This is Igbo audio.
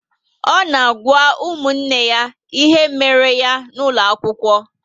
O n'agwa ụmụnne ya ihe méré ya n'ulo akwụkwọ